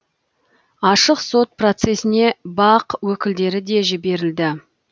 ашық сот процесіне бақ өкілдері де жіберілді